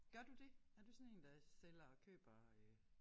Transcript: Gør du det? Er du sådan én der sælger køber øh